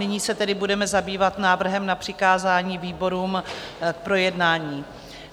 Nyní se tedy budeme zabývat návrhem na přikázání výborům k projednání.